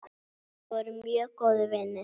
Við vorum mjög góðir vinir.